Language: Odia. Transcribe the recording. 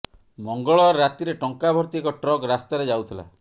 ମଙ୍ଗଳବାର ରାତିରେ ଟଙ୍କା ଭର୍ତ୍ତି ଏକ ଟ୍ରକ୍ ରାସ୍ତାରେ ଯାଉଥିଲା